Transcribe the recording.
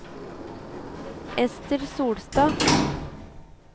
Ester Solstad